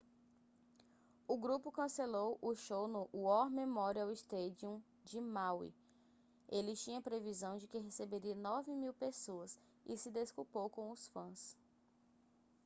o grupo cancelou o show no war memorial stadium de maui ele tinha previsão de que receberia 9.000 pessoas e se desculpou com os fãs